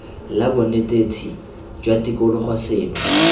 la bonetetshi jwa tikologo seno